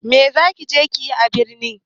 Me za ki je yi a birni?